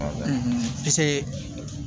piseke